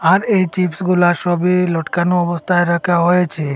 আর এই চিপসগুলা সবই লটকানো অবস্থায় রাখা হয়েছে।